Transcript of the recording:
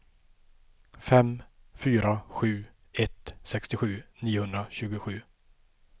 fem fyra sju ett sextiosju niohundratjugosju